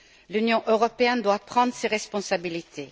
L'Union européenne doit prendre ses responsabilités